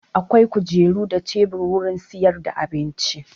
Akwai kujeru da tebur wurin sayar da abinci.